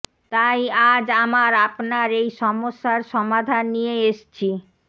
তাই আজ আমার আপনার এই সমস্যার সমাধান নিয়ে এসছি